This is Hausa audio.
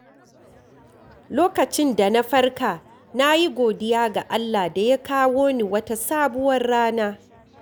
Lokacin da na farka, na yi godiya ga Allah da ya kawo ni wata sabuwar rana.